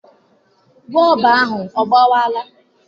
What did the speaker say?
Bọọbụ ahụ ọ gbawara?